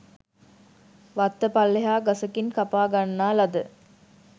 වත්ත පල්ලෙහා ගසකින් කපා ගන්නා ලද